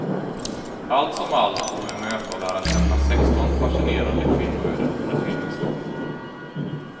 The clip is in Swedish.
Allt som allt får vi möta och lära känna sexton fascinerande kvinnoöden under filmens gång.